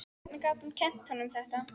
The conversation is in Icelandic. Hvernig gat hún gert honum þetta?